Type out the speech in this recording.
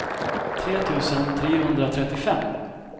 tre tusen trehundratrettiofem